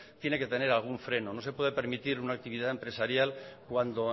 tiene que tener algún freno no se puede permitir una actividad empresarial cuando